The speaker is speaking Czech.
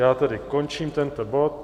Já tedy končím tento bod.